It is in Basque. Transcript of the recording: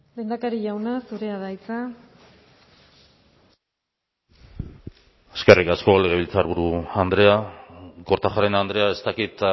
lehendakari jauna zurea da hitza eskerrik asko legebiltzarburu andrea kortajarena andrea ez dakit